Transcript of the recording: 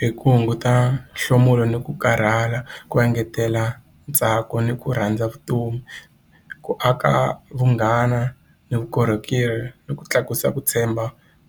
Hi ku hunguta nhlomulo ni ku karhala ku engetela ntsako ni ku rhandza vutomi ku aka vunghana ni vukorhokeri ni ku tlakusa ku tshemba